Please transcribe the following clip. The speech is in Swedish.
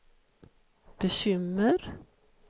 bekymmer